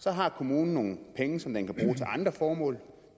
så har kommunen nogle penge som den kan bruge til andre formål